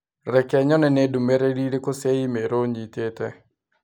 Reke nyone nĩ ndũmĩrĩri ĩrĩkũ cia i-mīrū nyitite.